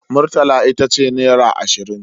Murtala ita ce naira ashirin.